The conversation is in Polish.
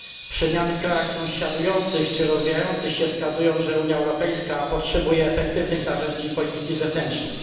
Przemiany w krajach sąsiadujących czy rozwijających się wskazują, że Unia Europejska potrzebuje efektywnych narzędzi polityki zewnętrznej.